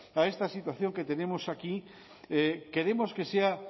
a esta situación que tenemos aquí queremos que sea